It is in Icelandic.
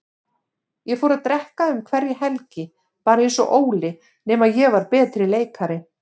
Ég fór að drekka um hverja helgi, bara einsog Óli, nema ég var betri leikari.